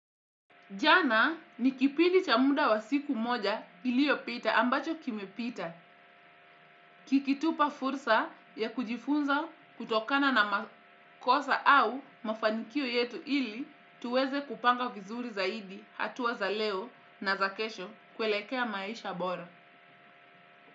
Jana ni kipindi cha muda wa siku moja iliyopita ambacho kimepita, kikitupa fursa ya kujifunza kutokana na makosa au mafanikio yetu ili tuweze kupanga vizuri zaidi hatua za leo na za kesho kuelekea maisha bora.